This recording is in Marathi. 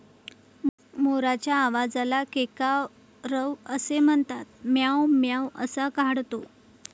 मोराच्या आवाजाला केकारव असे म्हणतात. म्याव म्याव असा काढतो.